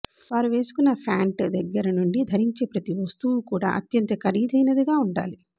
వారు వేసుకున్నఫ్యాంట్ దగ్గర నుండి ధరించే ప్రతి వస్తువు కూడా అత్యంత ఖరీదైనదిగా ఉండాలి